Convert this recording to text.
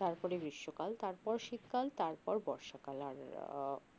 তারপরে গ্রীষ্মকাল তারপর শীতকাল তারপর বর্ষাকাল আর আহ